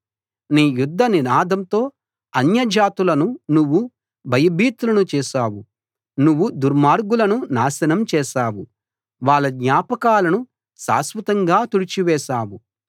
నీ యుద్ధ నినాదంతో అన్యజాతులను నువ్వు భయభీతులను చేశావు నువ్వు దుర్మార్గులను నాశనం చేశావు వాళ్ళ జ్ఞాపకాలను శాశ్వతంగా తుడిచివేశావు